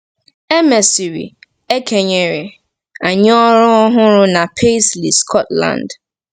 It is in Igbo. E mesịrị, e kenyere anyị ọrụ ọhụrụ na Paisley, Scotland.